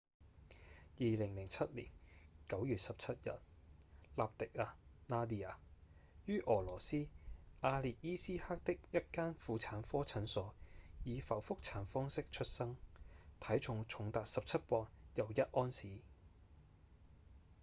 2007年9月17日納迪亞 nadia 於俄羅斯阿列伊斯克的一間婦產科診所以剖腹產方式出生體重重達17磅又1盎司